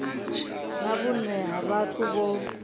na vhune ha vhathu vho